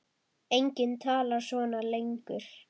Enginn talar svona lengur.